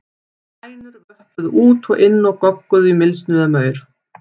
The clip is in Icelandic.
Hænur vöppuðu út og inn og gogguðu í mylsnu eða maur.